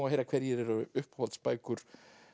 að heyra hverjar eru uppáhaldsbækur